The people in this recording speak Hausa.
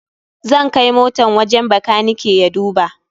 Zai kai motan wajen bakanike ya duba.